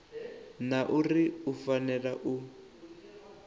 na uri u fanela u